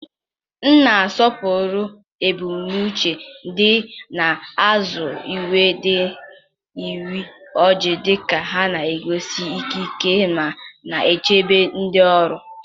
m na-asọpụrụ ebumnuche dị n'azụ uwe ndị uwe ojii, dịka ha na-egosi ikike ma na-echebe ndị ọrụ.